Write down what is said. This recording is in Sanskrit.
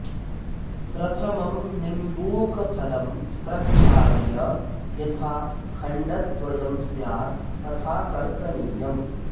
प्रथमम् निम्बूकफलं प्रक्षाल्य यथा खण्डद्वयं स्यात् तथा कर्तनीयम्